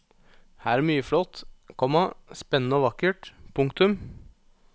Her er mye flott, komma spennende og vakkert. punktum